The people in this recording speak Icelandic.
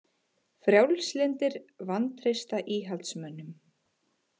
Frjálslyndir vantreysta íhaldsmönnum